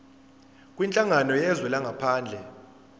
kwinhlangano yezwe langaphandle